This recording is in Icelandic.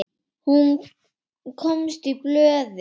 Hún komst í blöðin.